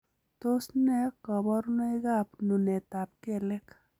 Tos nee koborunoikab nunetab kelek?